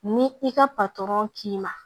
Ni i ka patɔrɔn k'i ma